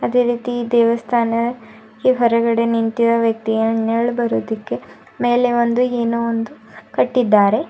ಇದೆ ರೀತಿ ದೇವಸ್ಥಾನ ಈ ಹೊರಗಡೆ ನಿಂತಿರುವ ವ್ಯಕ್ತಿಗೆ ನೆರಳ್ ಬರೋದಿಕ್ಕೆ ಮೇಲೆ ಒಂದು ಏನೊ ಒಂದು ಕಟ್ಟಿದ್ದಾರೆ.